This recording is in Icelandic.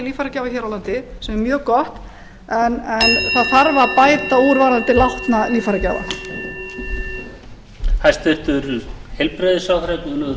líffæragjafa hér á landi sem er mjög gott en það þarf að bæta úr varðandi látna líffærgjafa